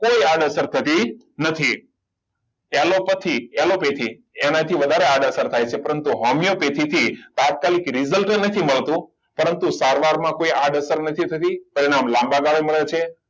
કોઈ આડ અસર થતી નથી એ લોકોથી એલોપેથી એનાથી વધારે આડઅસર થાય છે પરંતુ હોમિયોપેથીકથી તાત્કાલિક result નથી મળતું પરંતુ સારવારમાં કોઈ આળસર નથી થતી પરિણામ લાંબા ગાળે મળે છે